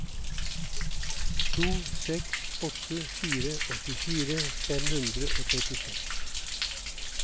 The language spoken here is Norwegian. to seks åtte fire åttifire fem hundre og trettiseks